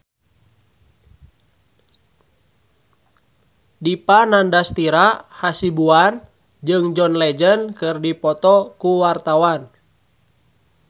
Dipa Nandastyra Hasibuan jeung John Legend keur dipoto ku wartawan